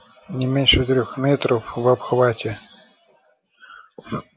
не меньше трёх метров в обхвате